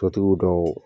Sotigiw dɔw